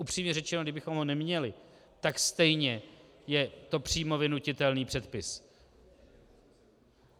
Upřímně řečeno, kdybychom ho neměli, tak stejně je to přímo vynutitelný předpis.